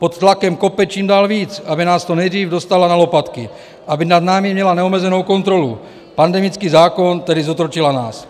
Pod tlakem kope čím dál víc, aby nás co nejdřív dostala na lopatky, aby nad námi měla neomezenou kontrolu, pandemický zákon, tedy zotročila nás.